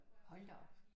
Hold da op